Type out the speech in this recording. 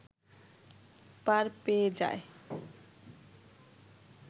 পার পেয়ে যায়